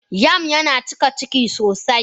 Yam yana cika Ciki sosai.